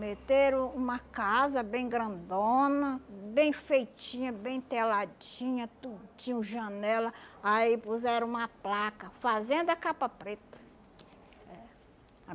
Meteram uma casa bem grandona, bem feitinha, bem teladinha, tudo tinha janela, aí puseram uma placa, Fazenda Capa Preta. É